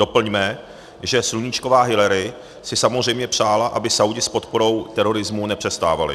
Doplňme, že sluníčková Hillary si samozřejmě přála, aby Saúdi s podporou terorismu nepřestávali.